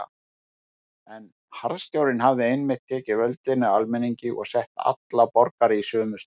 En harðstjórnin hafði einmitt tekið völdin af almenningi og sett alla borgara í sömu stöðu.